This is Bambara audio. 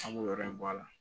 An b'o yɔrɔ in bɔ a la